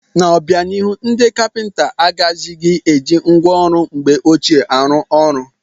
N'obianihu, ndị kapịnta agaghịzi eji ngwa ọrụ mgbe ọchịe arụ ọrụ.